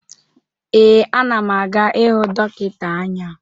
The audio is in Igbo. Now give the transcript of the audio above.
Ee, ana m aga ịhụ dọkịta anya.